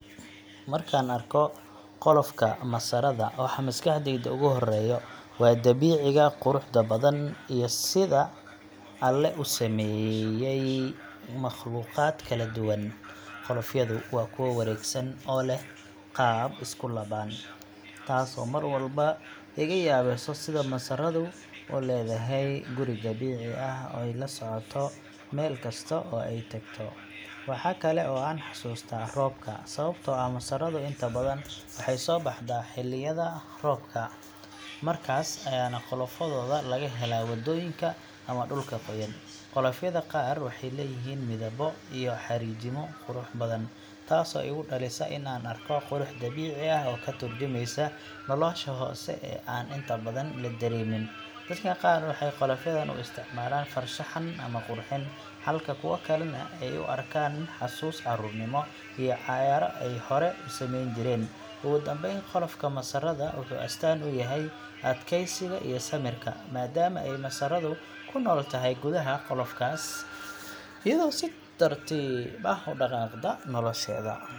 Marka aan arko qolofka masaarada, waxa maskaxdayda ugu horreeya waa dabiiciga quruxda badan iyo sida Alle u sameeyey makhluuqaad kala duwan. Qolofyadu waa kuwo wareegsan oo leh qaab isku laaban, taasoo mar walba iga yaabiso sida masaaradu u leedahay guri dabiici ah oo ay la socoto meel kasta oo ay tagto. Waxa kale oo aan xasuustaa roobka, sababtoo ah masaaradu inta badan waxay soo baxdaa xilliyada roobka, markaas ayaana qolofyadooda laga helaa waddooyinka ama dhulka qoyan. Qolofyada qaar waxay leeyihiin midabbo iyo xariijimo qurux badan, taasoo igu dhalisa in aan u arko qurux dabiici ah oo ka tarjumaysa nolosha hoose ee aan inta badan la dareemin. Dadka qaar waxay qolofyadan u isticmaalaan farshaxan ama qurxin, halka kuwo kalena ay ku arkaan xasuus carruurnimo iyo ciyaaro ay hore u samayn jireen. Ugu dambeyn, qolofka masaarada wuxuu astaan u yahay adkeysiga iyo samirka, maadaama ay masaaradu ku nool tahay gudaha qolofkaas, iyadoo si tartiib ah u dhaqaaqda nolosheeda.